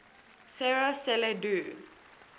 sera celle du